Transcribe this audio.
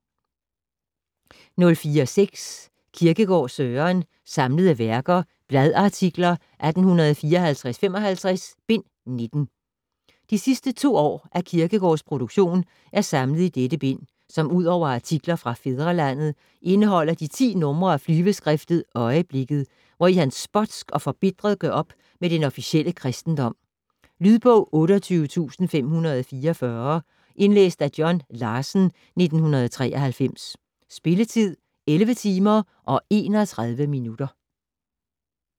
04.6 Kierkegaard, Søren: Samlede Værker: Bladartikler 1854-55: Bind 19 De sidste to år af Kierkegaards produktion er samlet i dette bind, som udover artikler fra "Fædrelandet" indeholder de 10 nr. af flyveskriftet "Øieblikket", hvori han spotsk og forbitret gør op med den officielle kristendom. Lydbog 28544 Indlæst af John Larsen, 1993. Spilletid: 11 timer, 31 minutter.